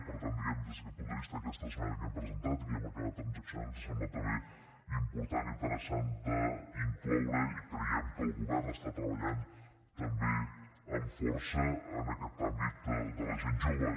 per tant diguem ne des d’aquest punt de vista aquesta esmena que hem presentat i que hem acabat transaccionant ens ha semblat també important i interessant d’incloure i creiem que el govern està treballant també amb força en aquest àmbit de la gent jove